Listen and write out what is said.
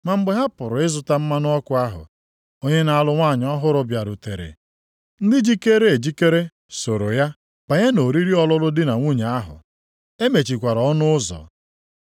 “Ma mgbe ha pụrụ ịzụta mmanụ ọkụ ahụ, onye na-alụ nwunye ọhụrụ bịarutere. Ndị jikeere ejikere soro ya banye nʼoriri ọlụlụ di na nwunye ahụ. E mechikwara ọnụ ụzọ.